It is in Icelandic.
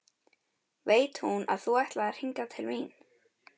Veit hún að þú ætlaðir hingað til mín?